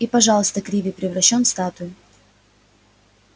и пожалуйста криви превращён в статую